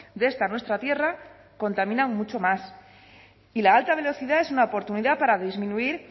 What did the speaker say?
de esta nuestra tierra contaminan mucho más y la alta velocidad es una oportunidad para disminuir